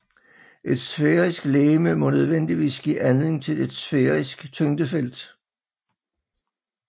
Et sfærisk legeme må nødvendigvis give anledning til et sfærisk tyngdefelt